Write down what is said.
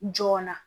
Joona